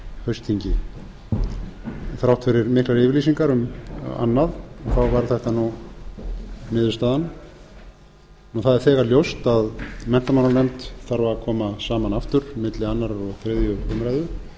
haustþingi þrátt fyrir miklar yfirlýsingar um annað varð þetta niðurstaðan og það er þegar ljóst að menntamálanefnd þarf að koma saman aftur milli annars og þriðju umræðu